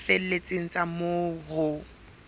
tse felletseng tsa moo ho